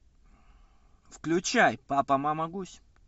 включай папа мама гусь